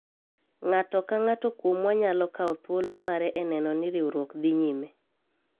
ng'ato ka ng'ato kuomwa nyalo kawo thuolo mare e neno ni riwruok dhi nyime